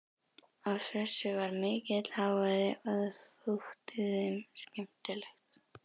Af þessu varð mikill hávaði og það þótti þeim skemmtilegt.